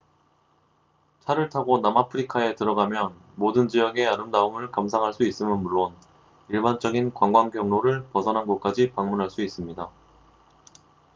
차를 타고 남아프리카에 들어가면 모든 지역의 아름다움을 감상할 수 있음은 물론 일반적인 관광 경로를 벗어난 곳까지 방문할 수 있습니다